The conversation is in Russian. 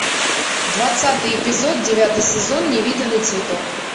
двадцатый эпизод девятый сезон невиданный цветок